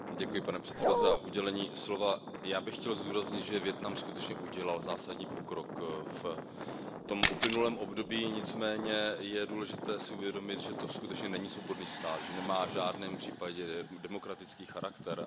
Pane předsedající, já bych chtěl zdůraznit, že Vietnam skutečně udělal zásadní pokrok v uplynulém období, nicméně je důležité si uvědomit, že to skutečně není svobodný stát, že nemá v žádném případě demokratický charakter.